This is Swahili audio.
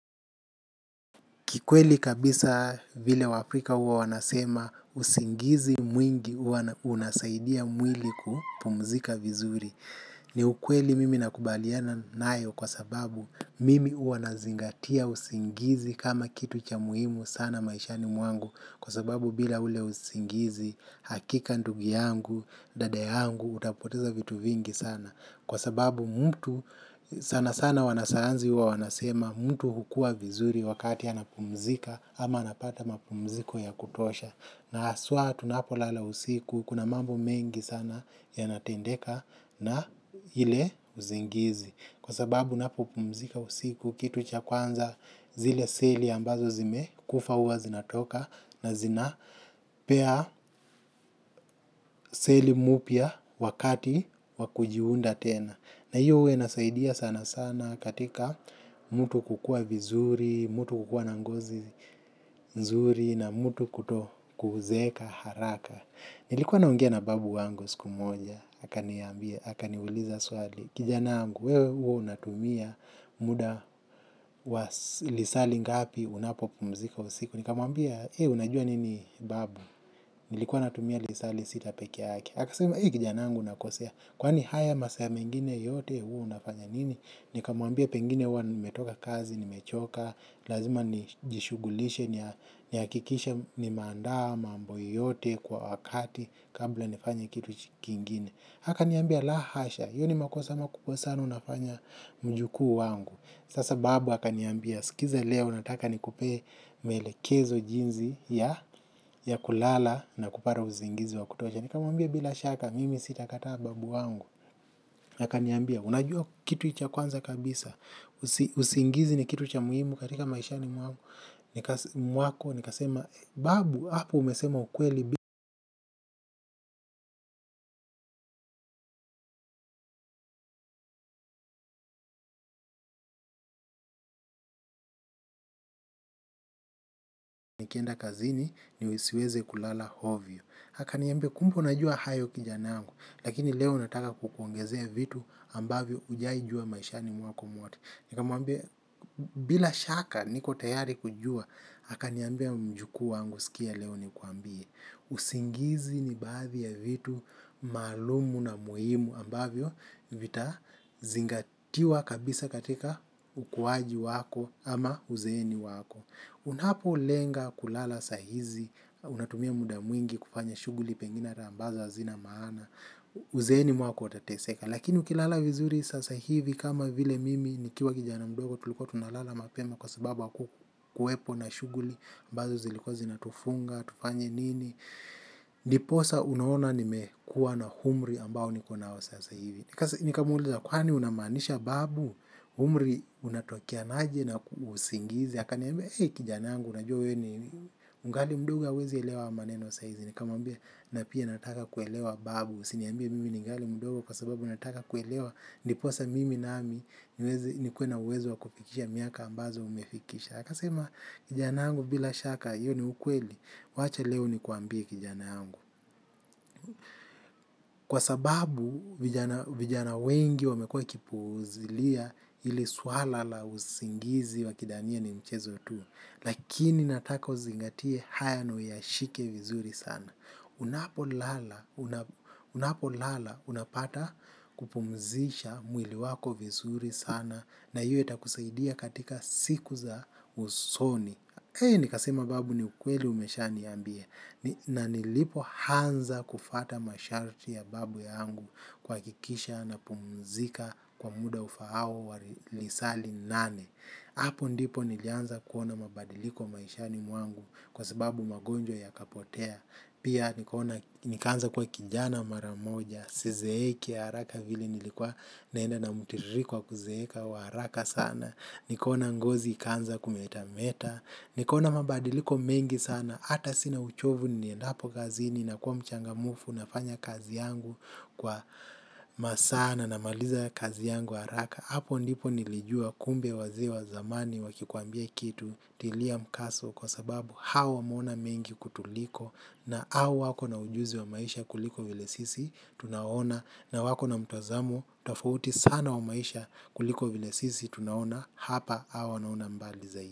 Kikweli kabisa vile wa Afrika huwa wanasema usingizi mwingi unasaidia mwili kupumzika vizuri. Ni ukweli mimi nakubaliana nayo kwa sababu mimi huwa nazingatia usingizi kama kitu cha muhimu sana maishani mwangu. Kwa sababu bila ule usingizi hakika ndugu yangu, dada yangu, utapoteza vitu vingi sana. Kwa sababu mtu sana sana wanasayanzi huwa wanasema mtu hukua vizuri wakati ana pumzika ama anapata mapumziko ya kutosha. Na haswa tunapo lala usiku kuna mambo mengi sana yanatendeka na hile uzingizi. Kwa sababu napo pumzika usiku kitu cha kwanza zile seli ambazo zime kufa huwa zinatoka na zinapea seli mupya wakati wakujiunda tena. Na hiyo huwa inasaidia sana sana katika mtu kukua vizuri, mtu kukua na ngozi nzuri na mtu kuto kuzeeka haraka. Nilikuwa naongea na babu wangu siku moja, haka niambia, haka niuliza swali, kijana yangu, wewe huwa unatumia muda wa lisali ngapi unapo pumzika usiku. Nikamuambia, unajua nini babu, nilikuwa natumia lisali sita peke ake. Aka sema, kijana yangu unakosea, kwani haya masaa mengine yote huwa unafanya nini. Nikamuambia pengine huwa nimetoka kazi, nimechoka, lazima nijishugulishe, ni hakikisha nimeandaa mambo yoyote kwa wakati, kabla nifanya kitu kingine. Aka niambia, la hasha, hiyo ni makosa makubwa sana unafanya mjukuu wangu. Sasa babu akaniambia, sikiza leo nataka nikupe malekezo jinzi ya kulala na kupata usingizi wa kutosha. Nikamuambia bila shaka, mimi sitakata babu wangu, akaniambia, unajua kitu cha kwanza kabisa, usingizi ni kitu cha muhimu katika maishani mwako, nikasema, babu, hapo umesema ukweli nikienda kazini nisiweze kulala hovyo. Akaniambia kumbe unajua hayo kijana yangu, lakini leo nataka kukuongezea vitu ambavyo ujai jua maishani mwako mwote. Nikamuambia bila shaka niko tayari kujua, akaniambia mjukuu wangu sikia leo nikuambie. Usingizi nibadhi ya vitu maalumu na muhimu ambavyo vitaa zingatiwa kabisa katika ukuwaji wako ama uzeni wako. Unapo lenga kulala sahizi unatumia muda mwingi kufanya shuguli pengine na ambazo hazina maana uzeni mwako utateseka lakini ukilala vizuri sasa hivi kama vile mimi nikiwa kijana mdogo tulikuwa tuna lala mapema kwa sababu kuwepo na shuguli ambazo zilikua zinatufunga tufanye nini ndiposa unaona nimekuwa na umri ambao nikonao sasa hivi nikamuliza kwani unamanisha babu umri unatokeanaje na usingizi aka niambia, hey kijana angu unajua ni mgali mdogo ya wezi elewa maneno saizi. Ni kamwambia na pia nataka kuelewa babu. Siniambia mimi ni ngali mdogo kwa sababu nataka kuelewa. Ndiposa mimi nami niwezi ni kuwe na uwezo wa kufikisha miaka ambazo umefikisha. Akasema kijana angu bila shaka, iyo ni ukweli. Wacha leo nikuambie kijanangu. Kwa sababu, vijana wengi wamekua wakipuzilia ili swala la usingizi wakidhania ni mchezo tu. Lakini nataka uzingatie haya na uyashike vizuri sana. Unapolala unapata kupumzisha mwili wako vizuri sana na hiyo itakusaidia katika siku zako za usoni nikasema babu ni ukweli umeshaniambia na nilipoanza kufuata masharti ya babu yangu kuhakikisha napumzika kwa muda ufaao kwa lisaa linane. Hapo ndipo nilianza kuona mabadiliko maishani mwangu kwa sababu magonjwa yakapotea. Pia nikanza kuwa kijana maramoja, sizeeki aharaka vili nilikuwa naenda na mutiriko wa kuzeeka wa haraka sana. Nikona ngozi ikanza kumetameta. Nikona mabadiliko mengi sana. Hata sina uchovu niendapo kazini na kuwa mchangamfu nafanya kazi yangu kwa masaa na na maliza kazi yangu haraka. Hapo ndipo nilijua kuwa kumbe wazee wa zamani wakikuambia kitu tilia mkaso kwa sababu hao wameona mengi kutuliko na au wako na ujuzi wa maisha kuliko vile sisi tunaona na wako na mtozamo tafauti sana wa maisha kuliko vile sisi tunaona hapa au wanaona mbali zaidi.